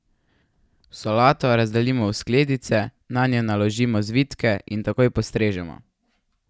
Solato razdelimo v skledice, nanjo naložimo zvitke in takoj postrežemo.